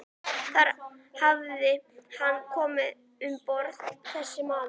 Þar hafði hann komið um borð, þessi maður.